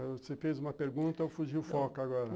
Você fez uma pergunta, eu fugi o foco agora.